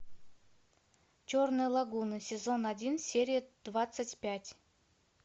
черная лагуна сезон один серия двадцать пять